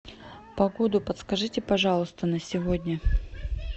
погоду подскажите пожалуйста на сегодня